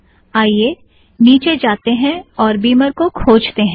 आईये निचे जातें हैं और बिमर को खोजतें हैं